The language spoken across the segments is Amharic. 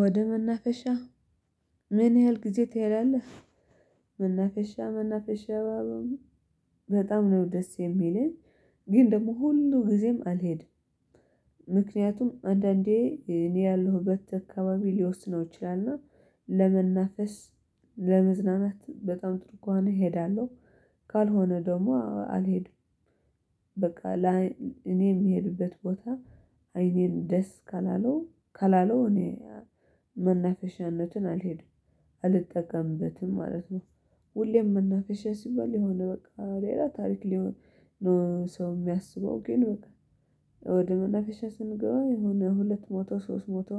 ወደ መናፈሻ ምን ያህል ጊዜ ትሄዳለህ? መናፈሻ መናፈሻ ባቦም በጣም ነው ደስ የሚለኝ ግን ደግሞ ሁሉ ጊዜም አልሄድም። ምክንያቱም አንዳንዴ እኔ ያለሁበት አካባቢ ሊወስነው ይችላልና። ለመናፈስ ለመዝናናት በጣም ጥሩ ከሆነ እሄዳለሁ። ካልሆነ ደግሞ አልሄድም። በቃ አል ላይ እኔ የምሄድበት ቦታ አይኔን ደስ ካላለው ካላለው እኔ መናፈሻነትን አልሄድም አልጠቀምበትም ማለት ነው። ሁሌም መናፈሻ ሲባል የሆነ በቃ ሌላ ታሪክ ሊሆን ነው ሰው የሚያስበው ግን በቃ። ወደ መናፌሻ ስንገባ የሆነ ሁለት መቶ ሶስት መቶ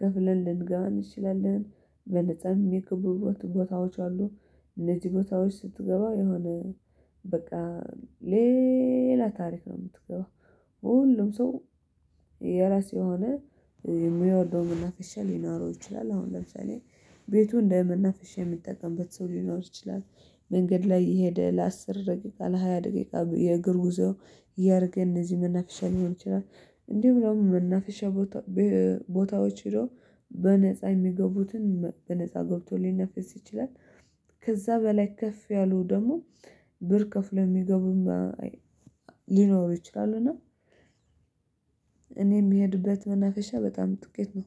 ከፍለን ልንገባ እንችላለን በነፃ የሚገቡ ቦታዎች አሉ። እነዚህ ቦታዎች ስትገባ የሆነ በቃ ሌላ ታሪክ ነው የምትገባው። ሁሉም ሰው የራሱ የሆነ የሚወደው መናፈሻ ሊኖረው ይችላል አሁን ለምሳሌ ቤቱ እንደ መናፈሻ የሚጠቀምበት ሰው ሊኖር ይችላል። መንገድ ላይ እየሄደ ለአስር ደቂቃ ለሃያ ደቂቃ የእግር ጉዞ ያደርገን እነዚህ መናፍሻ ሊሆን ይችላል። እንዲሁም ደግሞ መናፈሻ ቦታ ቦታዎች ሄዶ በነፃ የሚገቡትን በነፃ ገብቶ ሊናፈስ ይችላል። ከዛ በላይ ከፍ ያለው ደግሞ ብር ከፍሎ ሚገቡም ሊኖሩ ይችላሉ። እና እኔ የምሄድበት መናፈሻ በጣም ጥቂት ነው